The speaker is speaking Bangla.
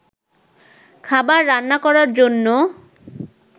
খাবার রান্না করার জন্য